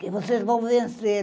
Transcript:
que vocês vão vencer.